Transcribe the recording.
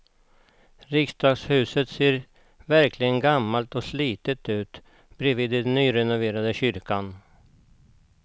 Riksdagshuset ser verkligen gammalt och slitet ut bredvid den nyrenoverade kyrkan.